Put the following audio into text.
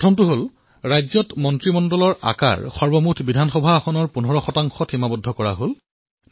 প্ৰথমটো হল ৰাজ্যসমূহত মন্ত্ৰীমণ্ডলৰ আকাৰ মুঠ বিধানসভাৰ আসনৰ ১৫লৈ সীমিত হল